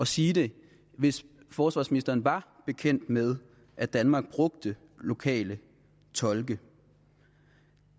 sige det hvis forsvarsministeren var bekendt med at danmark brugte lokale tolke